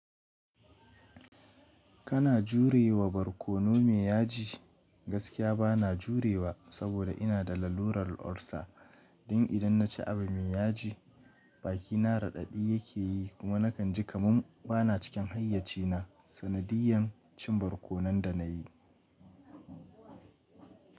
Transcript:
Kana jure wa barkono me yaji? Gaskiya bana jurewa saboda ina da lallurar ulcer. Don idan naci abu me yaji, bakina raɗaɗi yake yi kuma nakan ji kamun bana cikin hayyacina. Sanadiyan cin barkonon da na yi.